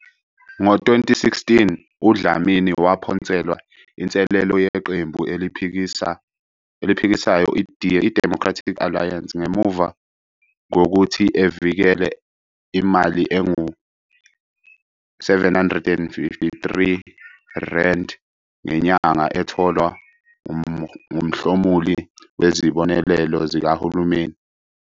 Ngo-2016, uDlamini waphonselwa inselelo yiqembu eliphikisayo iDemocratic Alliance ngemuva kokuthi evikele imali engu-R753 ngenyanga etholwa ngumhlomuli wesibonelelo sikahulumeni